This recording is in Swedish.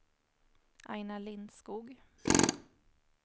Aina Lindskog